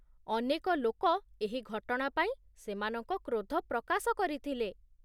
ଅନେକ ଲୋକ ଏହି ଘଟଣା ପାଇଁ ସେମାନଙ୍କ କ୍ରୋଧ ପ୍ରକାଶ କରିଥିଲେ